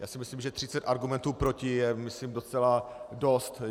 Já si myslím, že 30 argumentů proti je, myslím, docela dost.